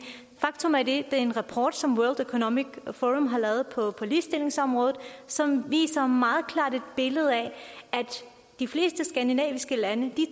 faktum er at det er en rapport som world economic forum har lavet på ligestillingsområdet som viser et meget klart billede af at de fleste skandinaviske lande